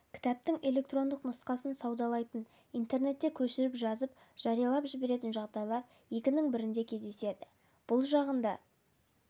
кітаптың электрондық нұсқасын саудалайтын интернетте көшіріп жазып жариялап жіберетін жағдайлар екінің бірінде кездеседі бұл жағында